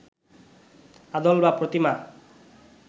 আদল বা প্রতিমা